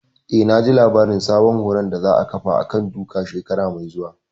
Eh, naji labarin sabon horon da za a ƙafa a kan duka shekara mai zuwa